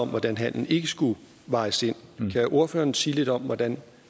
om hvordan handelen ikke skulle vejes ind kan ordføreren sige lidt om hvordan